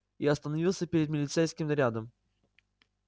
и остановился перед милицейским нарядом